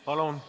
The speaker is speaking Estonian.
Palun!